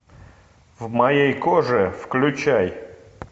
в моей коже включай